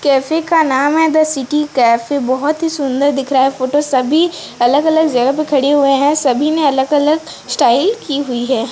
Cafe का नाम है द सिटी कैफे बहोत ही सुंदर दिख रहा है फोटो सभी अलग-अलग जगह पे खड़े हुए हैं सभी ने अलग-अलग स्टाइल की हुई है।